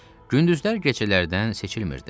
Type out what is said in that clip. Gündüzlər gecələrdən seçilmirdi.